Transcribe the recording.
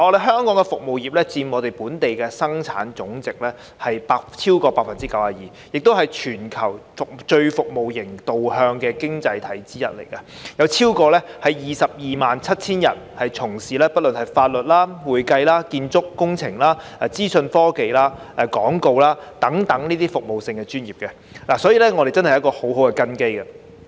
香港的服務業佔本地生產總值超過 92%， 亦是全球最服務型導向的經濟體之一，有超過 227,000 人從事法律、會計、建築工程、資訊科技、廣告等服務性專業，所以我們真的有很好的根基。